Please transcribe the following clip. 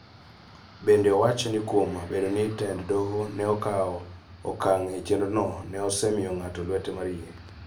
Bende, owacho ni kuom bedo ni tend doho ne okawo okang� e chenrono, ne osemiyo ng�ato lwete mar yie.